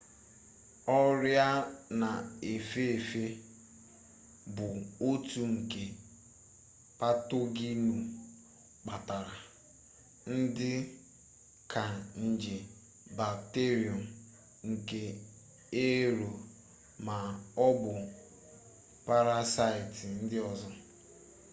ọrịa na-efe efe bụ otu nke patoginụ kpatara dị ka nje bakterium nje ero ma ọ bụ parasaịtị ndị ọzọ